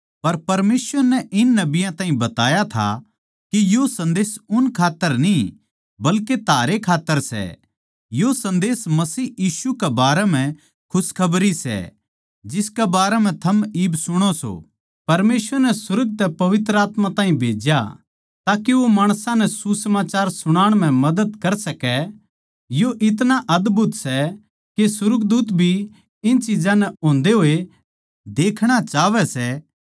पर परमेसवर नै इन नबियाँ ताहीं बताया था के यो सन्देस उन खात्तर न्ही बल्के थारे खात्तर सै यो सन्देस मसीह यीशु के बारें म्ह खुशखबरी सै जिसके बारें म्ह थम इब सुणो सों परमेसवर नै सुर्ग तै पवित्र आत्मा ताहीं भेज्या ताके वो माणसां नै सुसमाचार सुणाण म्ह मदद कर सकै यो इतणा अदभुत सै के सुर्गदूत भी इन चिज्जां नै होंदे होए देखणा चाहवै सै